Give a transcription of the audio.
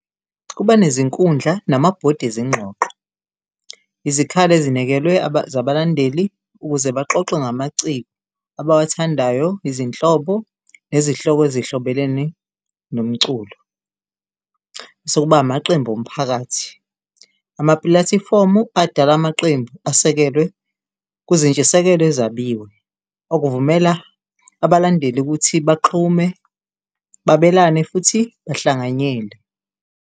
Kuba nezinkundla namabhodi ezingxoxo izikhali ezinekelwe zabalandeli ukuze baxoxe ngamaciko abawathandayo, izinhlobo nezihloko ezihlobelene nomculo. Masekuba amaqembu omphakathi, amapulathifomu adala amaqembu asekelwe kuzintshisekelo ezabiwe okuvumela abalandeli ukuthi baxhume, babelane futhi bahlanganyele.